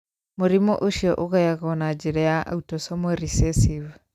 Mũrimũ ũcio ũgayagwo na njĩra ya autosomal recessive.